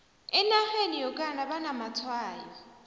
enarheni yokana banamatshwayo